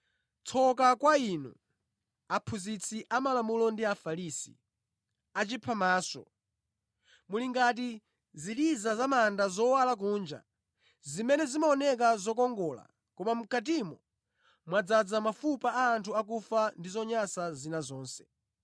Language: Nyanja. “Tsoka kwa inu, aphunzitsi amalamulo ndi Afarisi, achiphamaso! Muli ngati ziliza pa manda zowala kunja zimene zimaoneka zokongola koma mʼkatimo mwadzaza mafupa a anthu akufa ndi zonyansa zina zonse.